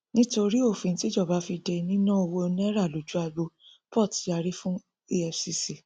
nítorí òfin tíjọba fi dé níná owó naira lójú agbo port yàrí fún efcc